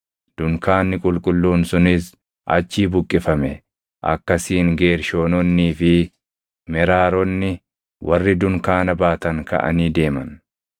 Dunkaanni qulqulluun sunis achii buqqifame; akkasiin Geershoononnii fi Meraaronni warri dunkaana baatan kaʼanii deeman.